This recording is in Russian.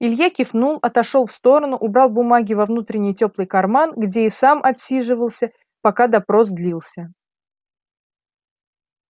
илья кивнул отошёл в сторону убрал бумаги во внутренний тёплый карман где и сам отсиживался пока допрос длился